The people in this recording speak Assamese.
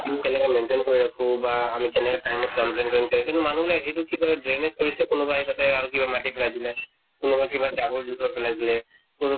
উম কেনেকা maintain কৰি ৰাখো বা আমি কেনেকে time ত complaint কৰিম কিন্তু মানুহ বিলাকে এইটো কিবা drainage কৰিছে, কোনোবাই তাতে আৰু কিবা মাটি পেলাই দিলে। কোনোবা কিবা জাবৰ জোথৰ পেলাই দিলে। তʼ